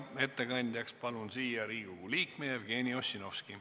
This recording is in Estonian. Ettekandjaks palun siia Riigikogu liikme Jevgeni Ossinovski.